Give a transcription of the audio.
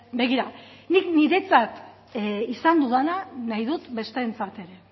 begira nik niretzat izan dudana nahi dut besteentzat ere